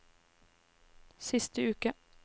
siste uke